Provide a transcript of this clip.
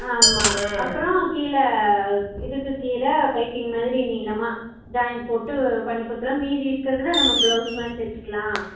ஆம்மா அப்பறம் கீழ இதுக்கு கீழ piping மாறி நீளமா join போட்டு பண்ணி கொடுதுறேன் மீதி இருக்குறதுல நம்ம blouse மாதிரி தேச்சுக்கலாம்